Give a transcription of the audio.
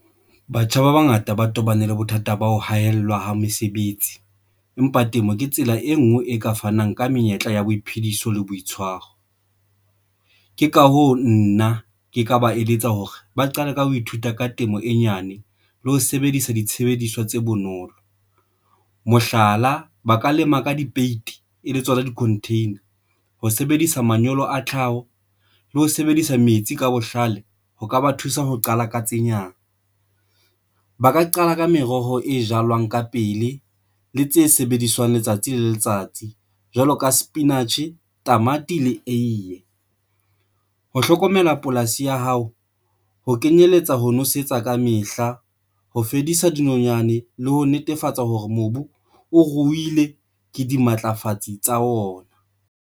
Batjha ba bangata ba tobane le bothata ba ho haellwa ha mesebetsi, empa temo ke tsela e nngwe e ka fanang ka menyetla ya boiphediso le boitshwaro. Ke ka hoo nna ke ka ba eletsa hore ba qale ka ho ithuta ka temo e nyane le ho sebedisa ditshebediswa tse bonolo, mohlala, ba ka lema ka dipeiti e le tsona di-container ho sebedisa manyolo a tlhaho le ho sebedisa metsi ka bohlale ho ka ba thusa ho qala katsenyana. Ba ka qala ka meroho e jalwang ka pele le tse sebediswang letsatsi le letsatsi jwalo ka sepinatjhe, tamati le eiye ho hlokomela polasi ya hao, ho kenyelletsa ho nosetsa kamehla, ho fedisa dinonyane le ho netefatsa hore mobu o ruile ke dimatlafatsi tsa ona.